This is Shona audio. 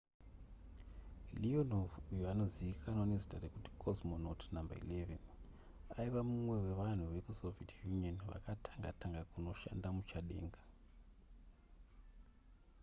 leonov uyo anozivikanwawo nezita rekuti cosmonaut no 11 aiva mumwe wevanhu vekusoviet union vakatanga tanga kunoshanda muchadenga